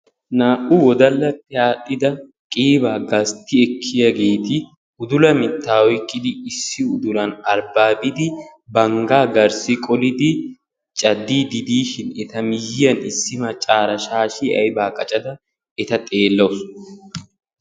naa"u wodallappe aaxxida qiiba gastti ekkiyaageeti uddula mitta oyqqidi issi uddulan banggan garssi qolidi cadiide diishin eta miyiyyan issi maccara shaashshiyaa aybba qaccada eta xeelawus.